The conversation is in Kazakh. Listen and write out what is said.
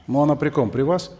ну она при ком при вас